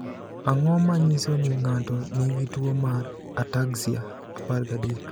Ang’o ma nyiso ni ng’ato nigi tuwo mar ataxia 13?